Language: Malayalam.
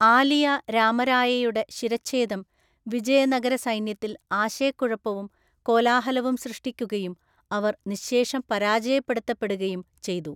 ആലിയ രാമരായയുടെ ശിരച്ഛേദം വിജയനഗര സൈന്യത്തിൽ ആശയക്കുഴപ്പവും കൊലാഹലവും സൃഷ്ടിക്കുകയും അവര്‍ നിശ്ശേഷം പരാജയപ്പെടുത്തപ്പെടുകയും ചെയ്തു.